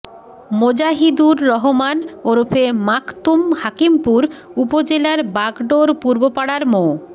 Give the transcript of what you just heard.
মোজাহিদুর রহমান ওরফে মাকতুম হাকিমপুর উপজেলার বাগডোর পূর্বপাড়ার মো